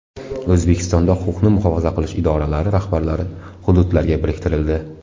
O‘zbekistonda huquqni muhofaza qilish idoralari rahbarlari hududlarga biriktirildi.